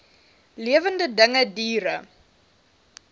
lewende dinge diere